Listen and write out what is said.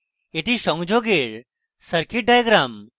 এটি সংযোগের circuit diagram